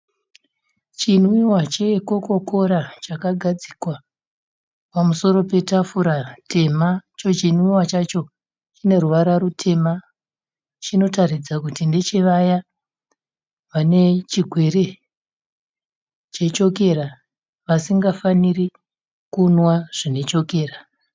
Chinwiwa chekokora chakagadzikwa pamusoro petafura tema. Icho chinwiwa chacho chine ruvara rutema. Chinotaridza kuti ndechevaya vane chigwere chechokera vasingafaniri kunwa zvine chokera.